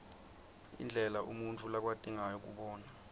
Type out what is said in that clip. indlela umuntfu lakwati ngayo kubona